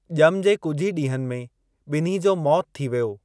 ॼम जे कुझु ई डीं॒हनि में बि॒न्ही जो मौतु थी वियो।